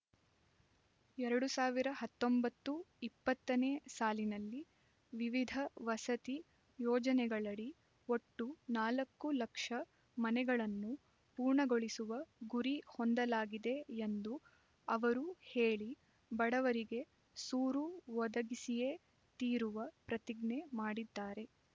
ಎರಡು ಸಾವಿರ ಹತ್ತೊಂಬತ್ತು ಇಪ್ಪತ್ತ ನೇ ಸಾಲಿನಲ್ಲಿ ವಿವಿಧ ವಸತಿ ಯೋಜನೆಗಳಡಿ ಒಟ್ಟು ನಾಲ್ಕು ಲಕ್ಷ ಮನೆಗಳನ್ನು ಪೂರ್ಣಗೊಳಿಸುವ ಗುರಿ ಹೊಂದಲಾಗಿದೆ ಎಂದು ಅವರು ಹೇಳಿ ಬಡವರಿಗೆ ಸೂರು ಒದಗಿಸಿಯೇ ತೀರುವ ಪ್ರತಿಜ್ಞೆ ಮಾಡಿದ್ದಾರೆ